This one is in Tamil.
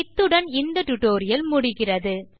இத்துடன் இந்த டியூட்டோரியல் முடிகிறது